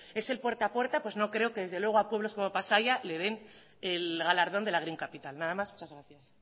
es el puerta a puerta pues no creo que desde luego a pueblos como pasaia le den el galardón de la green capital nada más muchas gracias